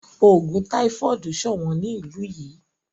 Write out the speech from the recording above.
Ogun táífọ́ọ̀dù sọ̀wọ́n ní ìlú yìí.